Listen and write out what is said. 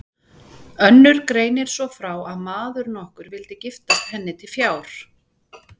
Önnur greinir svo frá að maður nokkur vildi giftast henni til fjár.